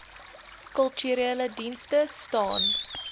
kulturele dienste staan